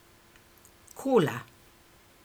Kola.